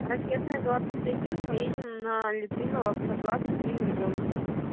ракетная двадцать один поедем на литвинова сто два с одним ребёнком